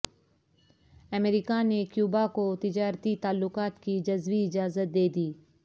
امریکہ نے کیوبا کو تجارتی تعلقات کی جزوی اجازت دے دی